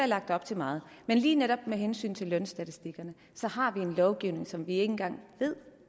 lagt op til meget men lige netop med hensyn til lønstatistikkerne har vi en lovgivning som vi ikke engang ved